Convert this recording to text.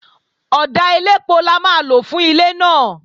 Ọ̀dà elépo la máa lò fún ilé náà